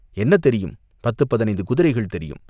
"என்ன தெரியும்?" "பத்துப் பதினைந்து குதிரைகள் தெரியும்!